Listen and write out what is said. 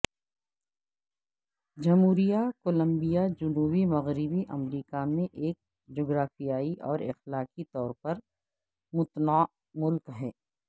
جمہوریہ کولمبیا جنوبی مغربی امریکہ میں ایک جغرافیایی اور اخلاقی طور پر متنوع ملک ہے